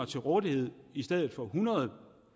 til rådighed i stedet for